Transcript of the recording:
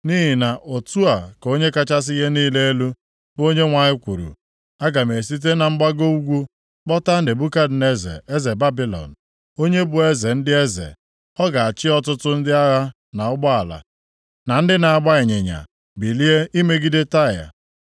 “Nʼihi na otu a ka Onye kachasị ihe niile elu, bụ Onyenwe anyị kwuru: Aga m esite na mgbago ugwu kpọta Nebukadneza eze Babilọn, onye bụ eze ndị eze, ọ ga-achị ọtụtụ ndị agha na ụgbọala, na ndị na-agba ịnyịnya bilie imegide Taịa.